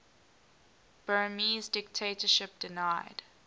burmese dictatorship denied